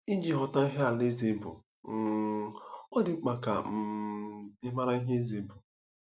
Iji ghọta ihe alaeze bụ, um ọ dị mkpa ka um ị mara ihe eze bụ.